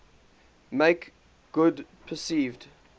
make good perceived